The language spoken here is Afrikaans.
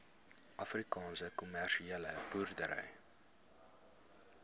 afrikaanse kommersiële boere